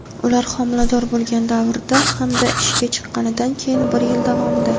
ular homilador bo‘lgan davrda hamda ishga chiqqanidan keyin bir yil davomida;.